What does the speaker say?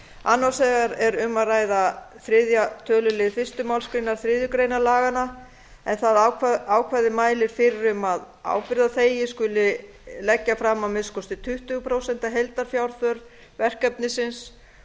annars vegar er um að ræða þriðja tölulið fyrstu málsgrein þriðju grein laganna en það ákvæði mælir fyrir um að ábyrgðarþegi skuli leggi fram að minnsta kosti tuttugu prósent af heildarfjárþörf verkefnisins